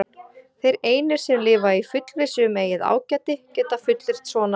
Þeir einir, sem lifa í fullvissu um eigið ágæti, geta fullyrt svona.